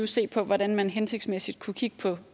se på hvordan man hensigtsmæssigt kunne kigge på